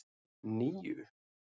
níu